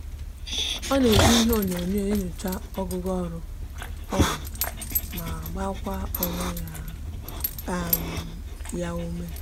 o n'eji ihe onyonyo enyocha ogugo oru oruru ma gbakwa onwe ya um